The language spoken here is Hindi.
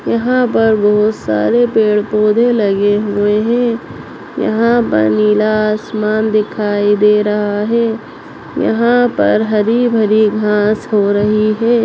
यहाँ पर बहुत सारे पेड़ पोधे लगे हुए है यहाँ पर नीला आसमान दिखाई दे रहा है यहाँ पर हरी भरी घास हो रही है।